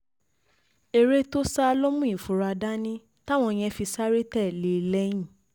èrè tó sá ló mú ìfura dání táwọn yẹn fi sáré tẹ̀lé e lẹ́yìn lẹ́yìn